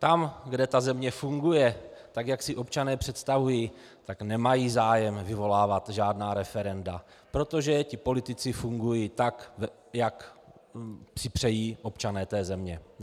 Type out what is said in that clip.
Tam, kde ta země funguje tak, jak si občané představují, tak nemají zájem vyvolávat žádná referenda, protože ti politici fungují tak, jak si přejí občané té země.